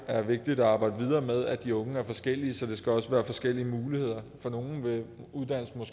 er vigtigt at arbejde videre med at de unge er forskellige så det også skal være forskellige muligheder for nogle vil uddannelsen